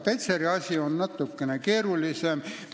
Petseri asi on natukene keerulisem.